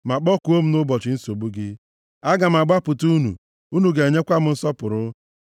ma kpọkuo m nʼụbọchị nsogbu gị, aga m agbapụta unu, unu ga-enyekwa m nsọpụrụ.”